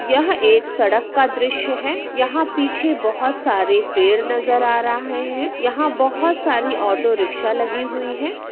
यह एक सड़क का दृश्य है यहा पीछे बहुत सारे पेड़ नजर आ रहाहे है यहा बहुत सारी ऑटो रिक्शा लगी हुई है।